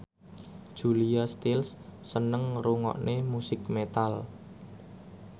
Julia Stiles seneng ngrungokne musik metal